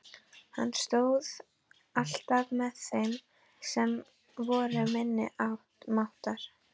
Hann stóð alltaf með þeim sem voru minni máttar.